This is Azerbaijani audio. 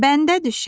Bəndə düşə!